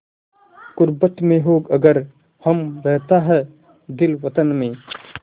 ग़ुर्बत में हों अगर हम रहता है दिल वतन में